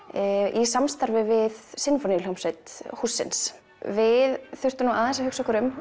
í samstarfi við sinfóníuhljómsveit hússins við þurftum nú aðeins að hugsa okkur um